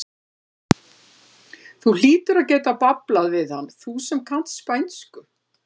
Þú hlýtur að geta bablað við hann, þú sem kannt spænsku!